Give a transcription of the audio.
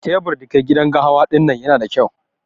Tebur da ke gidan gahawa dinnan Yana da kyau.